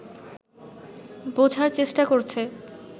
বোঝার চেষ্টা করছে